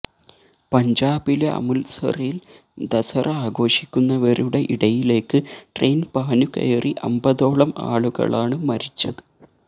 പഞ്ചാബിലെ അമൃത്സറിൽ ദസറ ആഘോഷിക്കുന്നവരുടെ ഇടയിലേക്ക് ട്രയിൻ പാഞ്ഞുകയറി അമ്പതോളം ആളുകളാണ് മരിച്ചത്